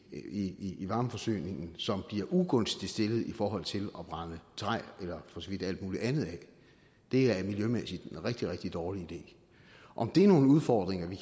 i i varmeforsyningen som bliver ugunstigt stillet i forhold til at brænde træ eller for så vidt alt muligt andet af det er miljømæssigt en rigtig rigtig dårlig idé om det er nogle udfordringer vi